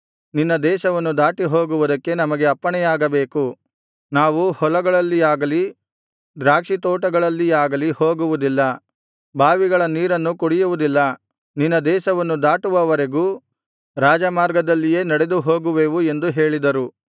ನಿನ್ನ ದೇಶವನ್ನು ದಾಟಿಹೋಗುವುದಕ್ಕೆ ನಮಗೆ ಅಪ್ಪಣೆಯಾಗಬೇಕು ನಾವು ಹೊಲಗಳಲ್ಲಿಯಾಗಲಿ ದ್ರಾಕ್ಷಿತೋಟಗಳಲ್ಲಿಯಾಗಲಿ ಹೋಗುವುದಿಲ್ಲ ಬಾವಿಗಳ ನೀರನ್ನು ಕುಡಿಯುವುದಿಲ್ಲ ನಿನ್ನ ದೇಶವನ್ನು ದಾಟುವವರೆಗೂ ರಾಜಮಾರ್ಗದಲ್ಲಿಯೇ ನಡೆದು ಹೋಗುವೆವು ಎಂದು ಹೇಳಿದರು